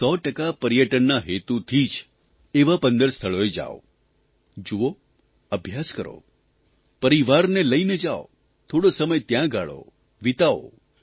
તે પણ 100 ટકા પર્યટનના હેતુથી જ એવાં 15 સ્થળોએ જાવ જુઓ અભ્યાસ કરો પરિવારને લઇને જાવ થોડો સમય ત્યાં ગાળો વીતાવો